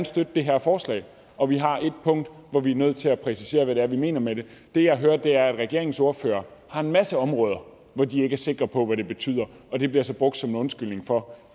støtte det her forslag og vi har et punkt hvor vi er nødt til at præcisere hvad vi mener med det det jeg hører er at regeringens ordførere har en masse områder hvor de ikke er sikre på hvad det betyder og det bliver så brugt som en undskyldning for